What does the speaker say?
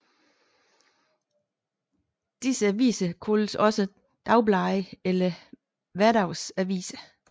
Disse aviser kaldes også dagblade eller hverdagsaviser